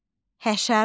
Həşərat.